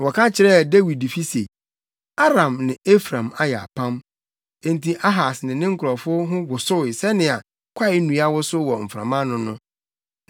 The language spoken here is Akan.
Na wɔka kyerɛɛ Dawidfi se, “Aram ne Efraim ayɛ apam;” Enti Ahas ne ne nkurɔfo ho wosow sɛnea kwaennua wosow wɔ mframa ano no.